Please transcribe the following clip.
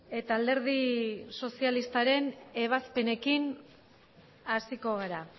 eta alderdi sozialistaren ebazpenekin hasiko gara